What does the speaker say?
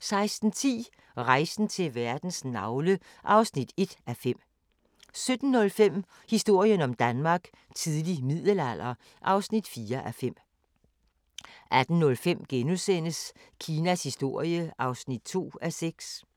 15:30: Fra baggård til big business 16:10: Rejsen til verdens navle (1:5) 17:05: Historien om Danmark: Tidlig middelalder (4:5) 18:05: Kinas historie (2:6)*